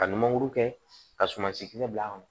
Ka nin mankuru kɛ ka sumansi kisɛ bila a kɔnɔ